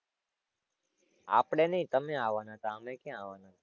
આપણે નહીં તમે આવાના હતાં, અમે ક્યાં આવાના હતાં?